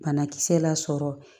Banakisɛ lasɔrɔ